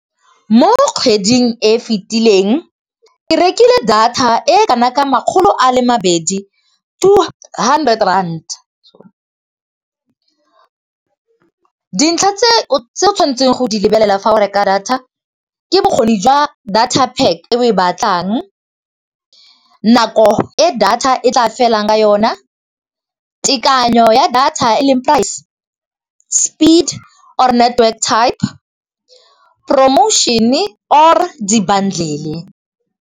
Mo kgweding e fetileng ke rekile data e kana ka makgolo a le mabedi, two hundred rand. Dintlha tse o tshwanetseng go di lebelela fa o reka data ke bokgoni jwa data pack e oe batlang, nako e data e tla felang ka yone, tekanyo ya data e leng price, speed or network type, promotion-e or di-bundle.